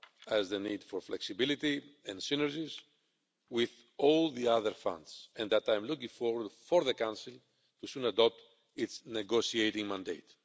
as the need for flexibility, and synergies with all the other funds, and I am looking forward to the Council soon adopting its negotiating mandate.